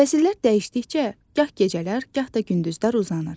Fəsillər dəyişdikcə gah gecələr, gah da gündüzlər uzanır.